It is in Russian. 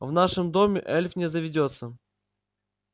в нашем доме эльф не заведётся